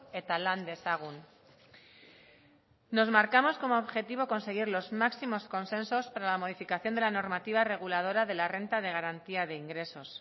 eta lan dezagun nos marcamos como objetivo conseguir los máximos consensos para la modificación de la normativa reguladora de la renta de garantía de ingresos